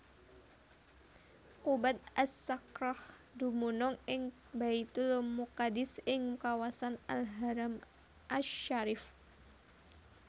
Qubbat As Sakhrah dumunung ing Baitulmuqaddis ing kawasan Al Haram asy Syarif